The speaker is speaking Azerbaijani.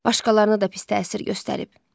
Başqalarına da pis təsir göstərib.